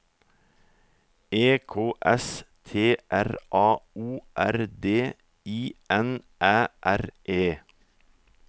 E K S T R A O R D I N Æ R E